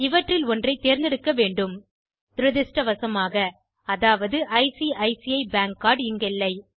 இவற்றில் ஒன்றைத் தேர்ந்தெடுக்க வேண்டும் துரதிருஷ்டவசமாக அதாவது ஐசிசி பேங்க் கார்ட் இங்கில்லை